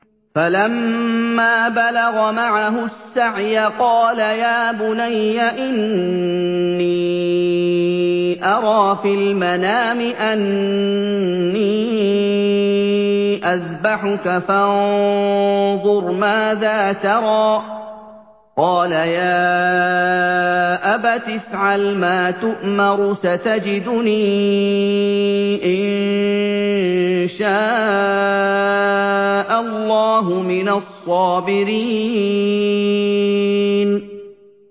فَلَمَّا بَلَغَ مَعَهُ السَّعْيَ قَالَ يَا بُنَيَّ إِنِّي أَرَىٰ فِي الْمَنَامِ أَنِّي أَذْبَحُكَ فَانظُرْ مَاذَا تَرَىٰ ۚ قَالَ يَا أَبَتِ افْعَلْ مَا تُؤْمَرُ ۖ سَتَجِدُنِي إِن شَاءَ اللَّهُ مِنَ الصَّابِرِينَ